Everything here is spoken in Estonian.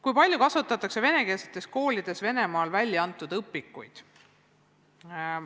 Kui palju kasutatakse venekeelsetes koolides Venemaal välja antud õpikuid?